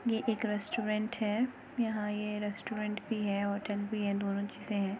ये एक रेस्टोरेंट है। यहाँ ये रेस्टोरेंट भी है होटल भी है दोनों चीजे हैं।